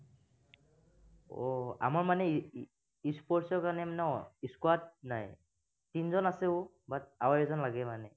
আহ আমাৰ মানে e e sports ৰ কাৰনে মানে ন squad নাই। তিনিজন আছো, but আৰু এজন লাগে মানে।